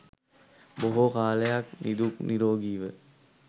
බොහෝ කලක් නිදුක් නීරෝගීව